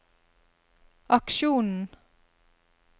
aksjonen